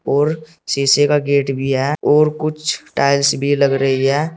और शीशे का गेट भी है और कुछ टाइल्स भी लग रही है।